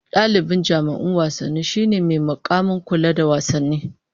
Dalibi jami'in wasanni shine mai mukamin kula da wasanni